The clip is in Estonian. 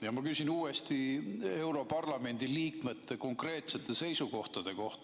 Ja ma küsin uuesti europarlamendi liikmete konkreetsete seisukohtade kohta.